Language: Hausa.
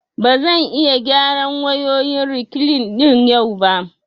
Ba zan iya gyara wayoyin rekline ɗin yau ba